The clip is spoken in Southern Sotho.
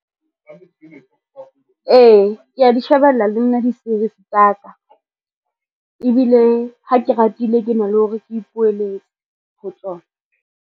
Ee, kea di shebella le nna di-series tsa ka. Ebile ha ke ratile, ke na le hore ke ipoeletse ho tsona.